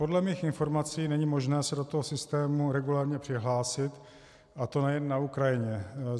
Podle mých informací není možné se do toho systému regulérně přihlásit, a to nejen na Ukrajině.